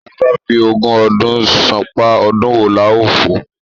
Tía bá f'ogún ọdún ṣán’pá, ọdún wo la ó fò?